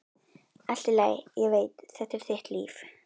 Allt í lagi, ég veit, þetta er þitt líf.